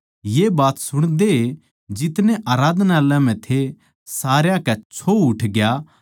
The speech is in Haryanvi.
ये बात सुणदए जितने आराधनालय म्ह थे सारया कै छो उठग्या